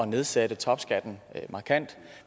nedsætte topskatten markant